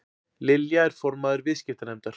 Lilja er formaður viðskiptanefndar